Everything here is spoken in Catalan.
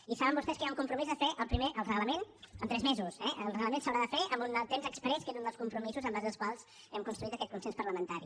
i saben vostès que hi ha un compromís de fer ne primer el reglament en tres mesos eh el reglament s’haurà de fer en un temps exprés que és un dels compromisos en base als quals hem construït aquest consens parlamentari